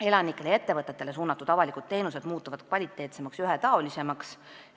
Elanikele ja ettevõtetele suunatud avalikud teenused muutuvad kvaliteetsemaks ja ühetaolisemaks.